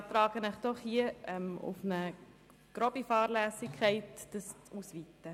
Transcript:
Ich beantrage Ihnen, es auf grobe Fahrlässigkeit einzuschränken.